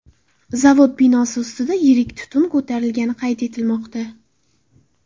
Zavod binosi ustida yirik tutun ko‘tarilgani qayd etilmoqda.